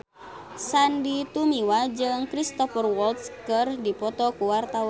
Sandy Tumiwa jeung Cristhoper Waltz keur dipoto ku wartawan